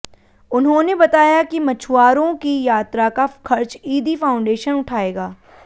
उन्होंने बताया कि मछुआरों की यात्रा का खर्च ईदी फाउंडेशन उठाएगा